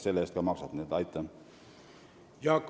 Jaak Madison, palun!